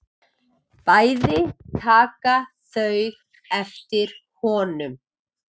Bæði taka þau eftir honum.